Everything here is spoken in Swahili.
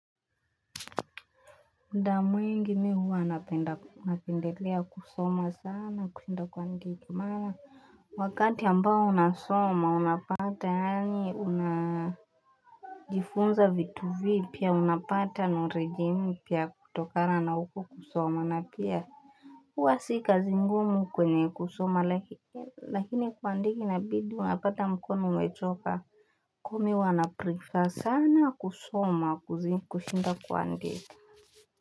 Muda mwingi mihuwa napendelea kusoma sana kushinda kuandika mara Wakati ambao unasoma unapata yanyi una jifunza vitu vipia unapata noreji mpia kutokana na huko kusoma na pia huwa sikazi ngumu kwenye kusoma lakini kuandika inabidi unapata mkono umechoka Komi wanaprifa sana kusoma kushinda kwandika.